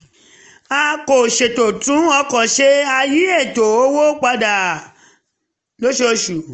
a kò ṣètò tún ọkọ̀ ṣe um a yí ètò owó wa padà lóṣooṣù